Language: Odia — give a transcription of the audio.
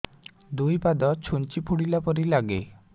ଦୁଇ ପାଦ ଛୁଞ୍ଚି ଫୁଡିଲା ପରି ଲାଗେ